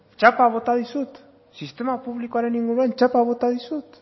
txapa bota dizut sistema publikoaren inguruan txapa bota dizut